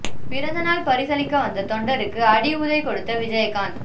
பிறந்த நாள் பரிசளிக்க வந்த தொண்டருக்கு அடி உதை கொடுத்த விஜயகாந்த்